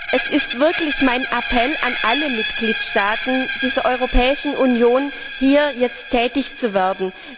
Es ist wirklich mein Appell an alle Mitgliedstaaten der Europäischen Union, hier jetzt tätig zu werden.